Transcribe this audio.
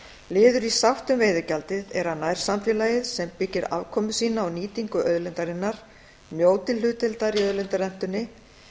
liður í sátt um veiðigjaldið er að nærsamfélagið sem byggir afkomu sína á nýtingu auðlindarinnar njóti hlutdeildar í auðlindarentunni